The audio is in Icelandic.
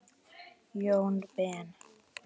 Jón Ben.